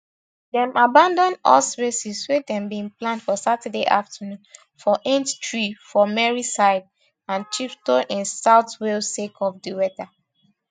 dem abandon horse races wey dem bin plan for saturday afternoon for aintree for merseyside and chepstow in south wales sake of di weather